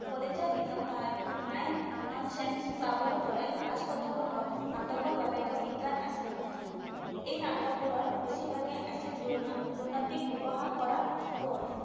কলেজীয়া দিনত তাই মায়ননচেন্স ক্লাবৰ দৰে ফাষ্ট নাটকৰ বাবে তেওঁ বিখ্যাত আছিল। এই নাটকবোৰৰ বেছিভাগেই আছিল দুৰ্ন দুৰ্নীতিক উপহাস কৰা